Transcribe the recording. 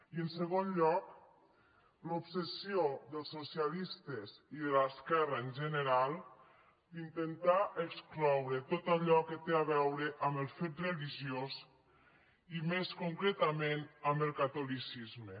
i en segon lloc l’obsessió dels socialistes i de l’esquerra en general d’intentar excloure tot allò que té a veure amb el fet religiós i més concretament amb el catolicisme